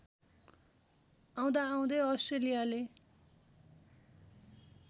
आउँदाआउँदै अस्ट्रेलियाले